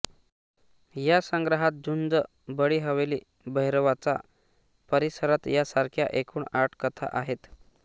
या संग्रहात झुंज बडी हवेली भैरवाच्या परिसरात यासारख्या एकूण आठ कथा आहेत